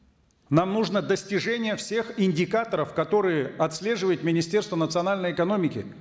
нам нужно достижение всех индикаторов которые отслеживает министерство национальной экономики